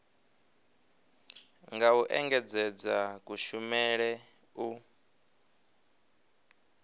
nga u engedzedza kushumele u